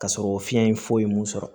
Ka sɔrɔ fiɲɛ in foyi mun sɔrɔ